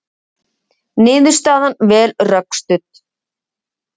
Niðurstaðan vel rökstudd